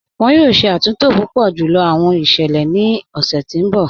Wọn yọ̀ọ̀ ṣẹ̀ àtúntò púpọ̀ júlọ̀ awọn iṣẹlẹ̀ ni ọṣẹ̀ ti n bọ̀.